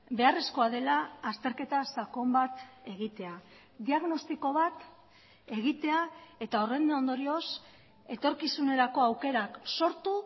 beharrezkoa dela azterketa sakon bat egitea diagnostiko bat egitea eta horren ondorioz etorkizunerako aukerak sortu